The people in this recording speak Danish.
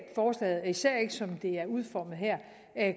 forslaget især ikke som det er udformet her